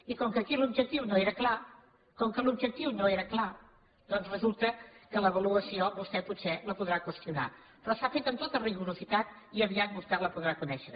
i com que aquí l’objectiu no era clar com que l’objectiu no era clar doncs resulta que l’avaluació vostè potser la podrà qüestionar però s’ha fet amb tot rigor i aviat vostè la podrà conèixer